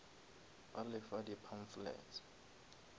ba le fa di pamphlets